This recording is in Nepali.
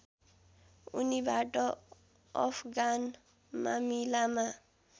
उनीबाट अफगान मामिलामा